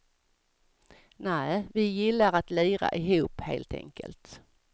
Nä, vi gillar att lira ihop helt enkelt.